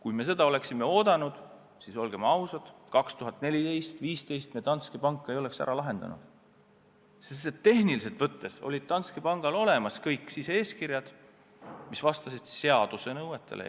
Olgem ausad, aastail 2014 ja 2015 me Danske Banki juhtumit ei oleks ära lahendanud, sest et tehniliselt võttes olid Danske Bankil olemas eeskirjad, mis enamjaolt vastasid seaduse nõuetele.